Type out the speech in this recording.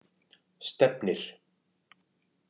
Stefnir